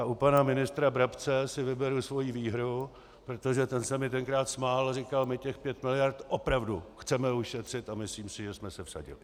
A u pana ministra Brabce si vyberu svoji výhru, protože ten se mi tenkrát smál a říkal "my těch pět miliard opravdu chceme ušetřit", a myslím, si, že jsme se vsadili.